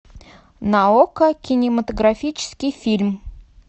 на окко кинематографический фильм